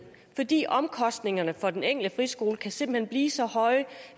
fordi omkostningerne for den enkelte friskole simpelt blive så høje